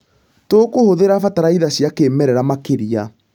Tũkũhũthĩra bataraitha cia kĩmerera makĩria.